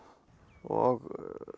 og